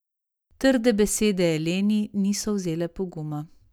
Trde besede Eleni niso vzele poguma.